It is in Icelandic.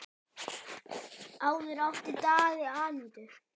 Áður átti Daði Anítu.